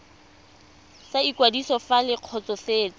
sa ikwadiso fa le kgotsofetse